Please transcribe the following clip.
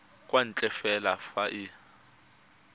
kwa ntle fela fa e